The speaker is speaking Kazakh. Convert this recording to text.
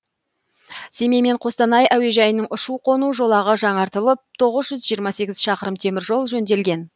семей мен қостанай әуежайының ұшу қону жолағы жаңартылып тоғыз жүз жиырма сегіз шақырым теміржол жөнделген